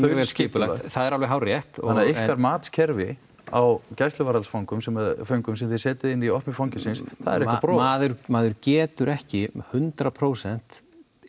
vera þaulskipulagt það er alveg hárrétt þannig að ykkar matskerfi á gæsluvarðhaldsföngum sem sem þið setjið inn í opnu fangelsin það er eitthvað brogað maður getur ekki hundrað prósent